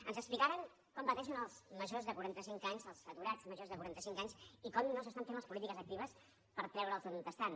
ens explicaren com pateixen els majors de quarantacinc anys els aturats majors de quaranta cinc anys i com no s’estan fent les polítiques actives per treure’ls d’on són